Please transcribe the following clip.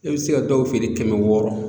I bɛ se ka dɔw feere kɛmɛ wɔɔrɔ.